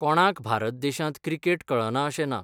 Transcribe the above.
कोणांक भारत देशांत क्रिकेट कळना अशें ना.